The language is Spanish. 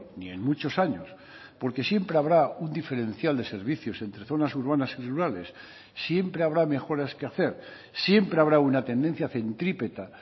ni en muchos años porque siempre habrá un diferencial de servicios entre zonas urbanas y rurales siempre habrá mejoras que hacer siempre habrá una tendencia centrípeta